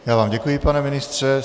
Já vám děkuji, pane ministře.